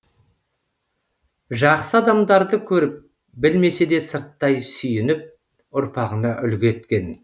жақсы адамдарды көріп білмесе де сырттай сүйініп ұрпағына үлгі еткен